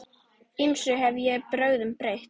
Ýmsum hef ég brögðum beitt.